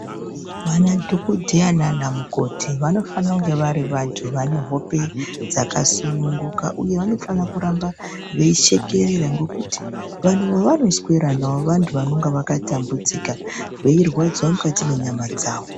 Vana dhokodheya naanamukoti vanofanira kunga vari vantu vane hope dzakasununguka ,uye vanofana kuramba veishekerera ,ngokuti vantu vavanoswera navo vantu vakatambudzika, veirwadziwa mukati menyama dzavo.